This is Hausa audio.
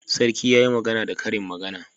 Sarki yayi magana da karin magana